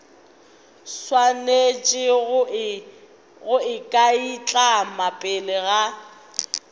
swanetše go ikanaitlama pele ga